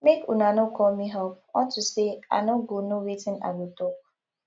make una no call me up unto say i no go know wetin i go talk